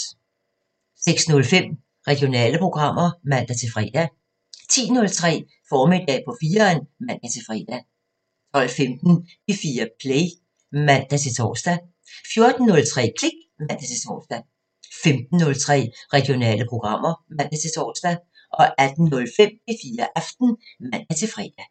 06:05: Regionale programmer (man-fre) 10:03: Formiddag på 4'eren (man-fre) 12:15: P4 Play (man-tor) 14:03: Klik (man-tor) 15:03: Regionale programmer (man-tor) 18:05: P4 Aften (man-fre)